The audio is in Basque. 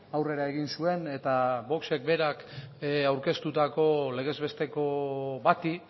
aurrera egin zuen eta voxek berak aurkeztutako legez besteko bati